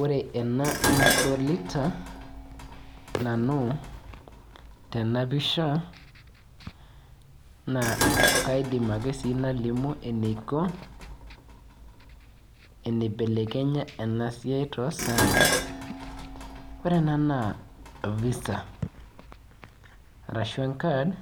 Ore ena nadolita nanu tena pisha naa kaidim ake sii nalimu kaja iko eniblelekenya ena siai toosaai or ena naa visa arashu enkard